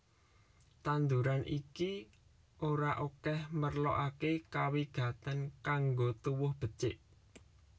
Tanduran iki ora akèh merlokaké kawigatèn kanggo tuwuh becik